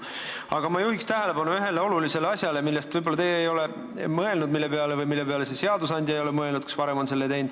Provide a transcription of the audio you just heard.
Aga ma juhiks tähelepanu ühele olulisele asjale, millele te võib-olla ei ole mõelnud või mille peale seadusandja ei ole varem mõelnud.